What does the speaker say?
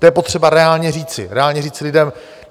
To je potřeba reálně říci, reálně říci lidem.